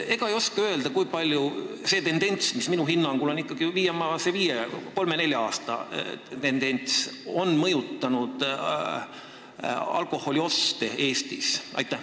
Ega te ei oska öelda, kui palju see tendents, mis minu hinnangul on viimase kolme-nelja-viie aasta jooksul tekkinud, on mõjutanud alkoholioste Eestis?